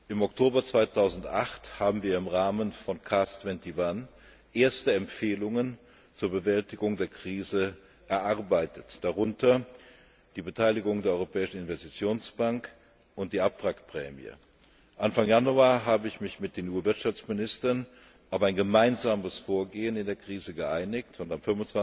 Im Oktober 2008 haben wir im Rahmen von CARS 21 erste Empfehlungen zur Bewältigung der Krise erarbeitet, darunter die Beteiligung der Europäischen Investitionsbank und die Abwrackprämie. Anfang Januar habe ich mich mit den EU Wirtschaftsministern auf ein gemeinsames Vorgehen in der Krise geeinigt, und am